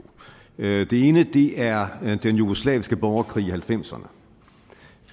det ene er den jugoslaviske borgerkrig i nitten halvfemserne